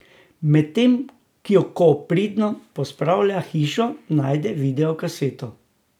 Medtem ko pridno pospravlja hišo, najde videokaseto.